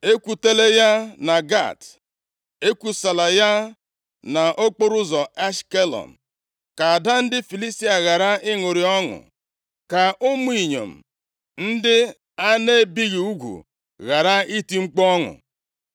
“Ekwutela ya na Gat. + 1:20 Obodo Gat na Ashkelọn dị nʼala Filistia. \+xt 1Sa 6:17; 1Sa 27:2\+xt* Ekwusala ya nʼokporoụzọ Ashkelọn. + 1:20 Otu obodo nʼime ala ndị Filistia \+xt Jer 25:20\+xt* Ka ada ndị Filistia ghara ịṅụrị ọṅụ. Ka ụmụ inyom ndị a na-ebighị ugwu ghara iti mkpu ọṅụ.